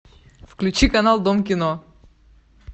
включи канал дом кино